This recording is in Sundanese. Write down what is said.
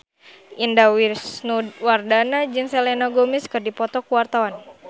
Indah Wisnuwardana jeung Selena Gomez keur dipoto ku wartawan